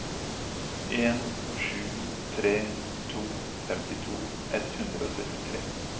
en sju tre to femtito ett hundre og syttitre